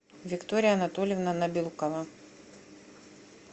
виктория анатольевна набилкова